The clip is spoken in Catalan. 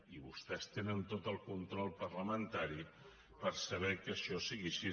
i vostès tenen tot el control parlamentari per saber que això és així